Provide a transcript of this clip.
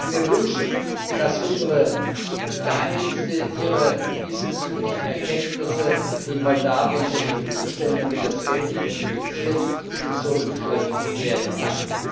Ich würde mir wünschen, dass unsere Geheimdienste ihre diesbezüglichen Erkenntnisse den Moldawiern zur Verfügung stellen, damit das Geld identifiziert und zurückgeführt werden kann.